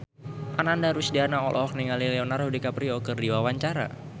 Ananda Rusdiana olohok ningali Leonardo DiCaprio keur diwawancara